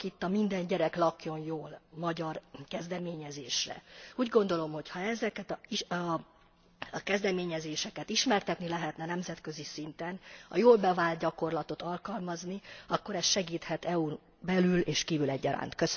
Gondolok itt a Minden gyerek lakjon jól magyar kezdeményezésre. Úgy gondolom, hogy ha ezeket a kezdeményezéseket ismertetni lehetne nemzetközi szinten, a jól bevált gyakorlatot alkalmazni, akkor ez segíthet EU n kívül és belül egyaránt.